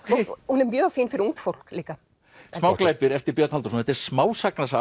hún er mjög fín fyrir ungt fólk líka smáglæpir eftir Björn Halldórsson þetta er smásagnasafn